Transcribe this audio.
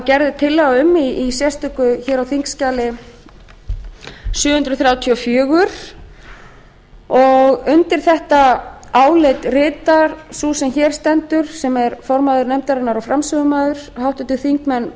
gerð er tillaga um á þingskjali sjö hundruð þrjátíu og fjögur undir þetta álit ritar sú sem hér stendur sem er formaður nefndarinnar og framsögumaður háttvirtir þingmenn